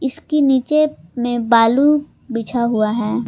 ईसकी नीचे में बालू बिछा हुआ है।